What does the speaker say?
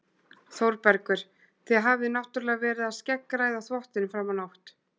ÞÓRBERGUR: Þið hafið náttúrlega verið að skeggræða þvottinn fram á nótt.